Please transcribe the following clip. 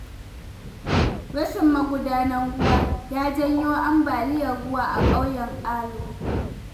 Rashin magudanun ruwa ya janyo ambaliyar ruwa a ƙauyen Alu.